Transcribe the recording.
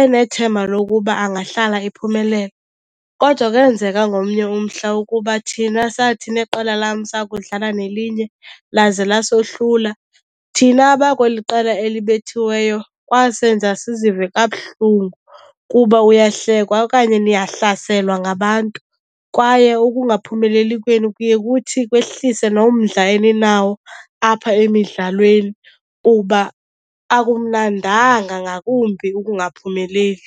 enethemba lokuba angahlala ephumelela. Kodwa kwenzeka ngomnye umhla ukuba thina sathi neqela lam sakudlala nelinye laze lasohlula. Thina abakweli qela elibethiweyo kwasenza sizive kabuhlungu kuba uyahlekwa okanye niyahlaselwa ngabantu kwaye ukungaphumeleli kwenu kuye kuthi kwehlise nomdla eninawo apha emidlalweni kuba akumnandanga ngakumbi ukungaphumeleli.